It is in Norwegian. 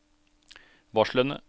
varslene